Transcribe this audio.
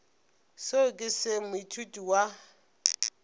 seo ke se moithuti wa